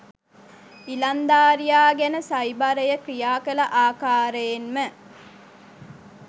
ඉලන්දාරියා ගැන සයිබරය ක්‍රියා කළ ආකාරයෙන්ම